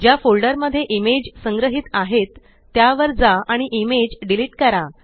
ज्या फोल्डर मध्ये इमेज संग्रहीत आहेत त्या वर जा आणि इमेज डिलीट करा